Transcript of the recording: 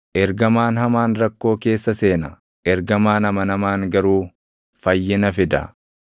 Ergamaan hamaan rakkoo keessa seena; ergamaan amanamaan garuu fayyina fida.